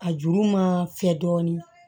A juru ma fɛ dɔɔnin